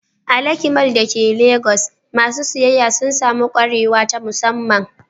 A Lekki Mall da ke Legas, masu siyayya sun sami kwarewa ta musamman.